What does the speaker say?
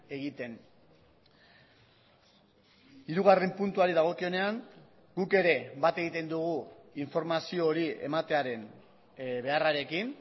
egiten hirugarren puntuari dagokionean guk ere bat egiten dugu informazio hori ematearen beharrarekin